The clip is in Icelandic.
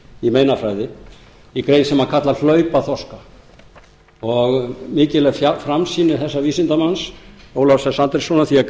í meinafræði í grein sem hann kallar hlaupaþorska mikil er framsýni þessa vísindamanns ólafs s andréssonar því að